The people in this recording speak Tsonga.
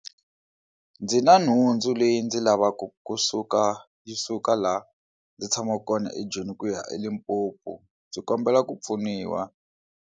Ndzi na nhundzu leyi ndzi lavaka kusuka yi suka laha ndzi tshamaka kona eJoni ku ya eLimpopo ndzi kombela ku pfuniwa.